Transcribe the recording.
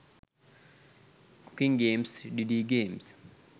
cooking games didi games